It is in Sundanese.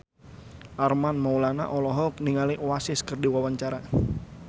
Armand Maulana olohok ningali Oasis keur diwawancara